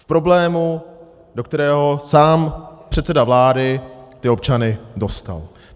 V problému, do kterého sám předseda vlády ty občany dostal.